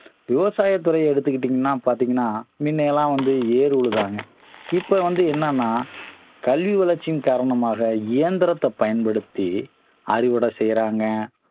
விவசாயத்துறை எடுத்துக்கிட்டீங்கன்னா பார்த்தீங்கனா முன்ன எல்லாம் வந்து ஏறு உழுதாங்க இப்ப வந்து என்னன்னா கல்வி வளர்ச்சியின் காரணமாக இயந்திரத்த பயன்படுத்தி அறுவடை செய்றாங்க